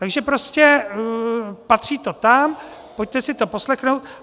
Takže prostě patří to tam, pojďte si to poslechnout.